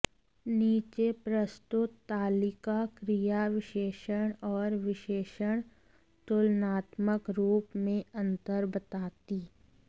नीचे प्रस्तुत तालिका क्रिया विशेषण और विशेषण तुलनात्मक रूप में अंतर बताती